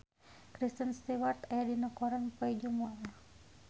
Kristen Stewart aya dina koran poe Jumaah